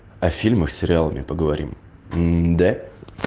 о фильмах с сериалами поговорим мм да